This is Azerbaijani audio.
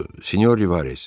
Senyor Rivarez.